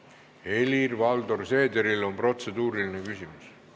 Helir-Valdor Seederil on protseduuriline küsimus.